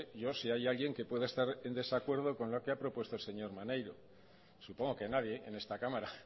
yo si hay alguien que pueda estar en desacuerdo con lo que ha propuesto el señor maneiro supongo que nadie en esta cámara